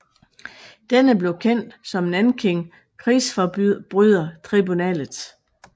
Denne blev kendt som Nanking krigsforbrydertribunalet